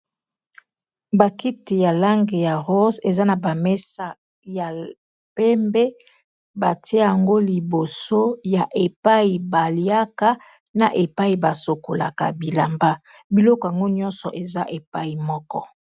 Bakiti ya langi ya rose eza na bamesa ya pembe batia yango liboso ya epai baliaka na epai basokolaka bilamba biloko yango nyonso eza epai moko